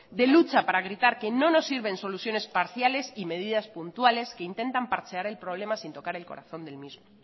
de lucha para gritar que no nos sirven soluciones parciales y medidas puntuales que intentan parchear el problema sin tocar el corazón del mismo